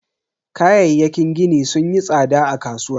Kayayyakin gini sunyi tsada a kasuwa.